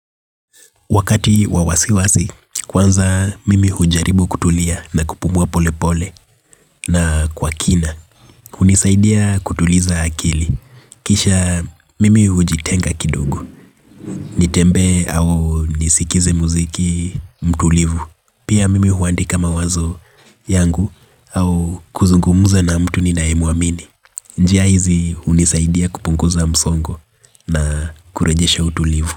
Wakati wa wasiwasi, kwanza mimi hujaribu kutulia na kupumuwa pole pole na kwa kina. Hunisaidia kutuliza akili. Kisha mimi hujitenga kidogo. Nitembee hao nisikize muziki mtulivu. Pia mimi huandika mawazo yangu hau kuzungumuza na mtu ninaye muamini. Njia hizi hunisaidia kupunguza msongo na kurajesha utulivu.